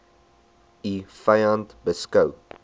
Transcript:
u vyand beskou